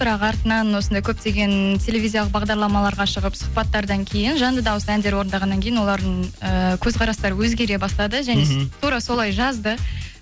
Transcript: бірақ артынан осындай көптеген телевизиялық бағдарламаларға шығып сұхбаттардан кейін жанды дауыс әндер орындағаннан кейін олардың ііі көзқарастары өзгере бастады және тура солай жазды